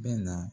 Bɛ na